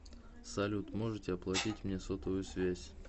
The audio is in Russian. салют можете оплатить мне сотовую связь